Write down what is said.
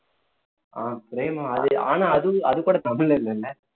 ஆஹ் பிரேமம் அது ஆனா அது அது கூட தமிழ்ல இல்லல்ல